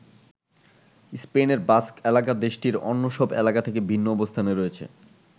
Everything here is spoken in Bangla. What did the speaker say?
স্পেনের বাস্ক এলাকা দেশটির অন্য সব এলাকা থেকে ভিন্ন অবস্থানে রয়েছে।